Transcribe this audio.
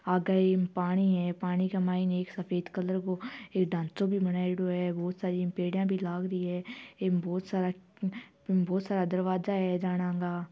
आगे इम पाणी है पाणी का माइन एक सफ़ेद कलर को एक ढांचों भी बनायेड़ो है बोहोत सारी पेडियां भी लाग री है इम बोहोत सारा बोहोत सारा दरवाजा है जाणां गा।